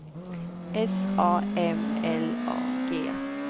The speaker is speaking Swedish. S A M L A G